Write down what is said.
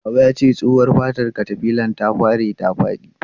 Baba yace tsohuwa fatar katafilar ta bare ta fadi.